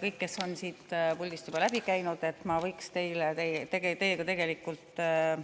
Kõik, kes te olete siit puldist juba läbi käinud, võiksin